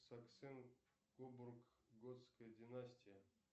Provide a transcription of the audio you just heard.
саксен кобург готская династия